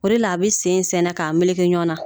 O de la a bɛ sen sɛɛnɛ k'a meleke ɲɔgɔn na